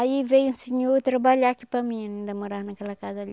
Aí veio um senhor trabalhar aqui para mim, ainda morava naquela casa ali.